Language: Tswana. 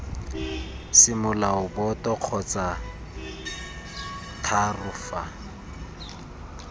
semolao boto kgotsa iii fa